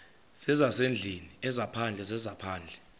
zezasendlwini ezaphandle zezaphandle